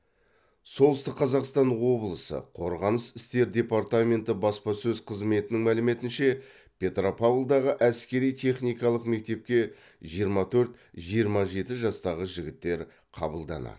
солтүстік қазақстан облысы қорғаныс істер департаменті баспасөз қызметінің мәліметінше петропавлдағы әскери техникалық мектепке жиырма төрт жиырма жеті жастағы жігіттер қабылданады